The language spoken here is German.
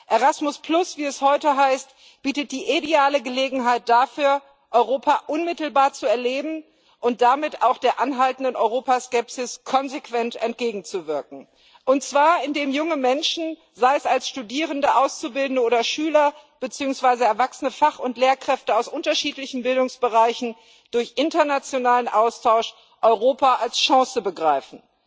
Erasmus, wie es heute heißt, bietet die ideale Gelegenheit dafür, Europa unmittelbar zu erleben und damit auch der anhaltenden Europaskepsis konsequent entgegenzuwirken. Und zwar indem junge Menschen sei es als Studierende, Auszubildende oder Schüler beziehungsweise erwachsene Fach und Lehrkräfte aus unterschiedlichen Bildungsbereichen durch internationalen Austausch Europa als Chance begreifen.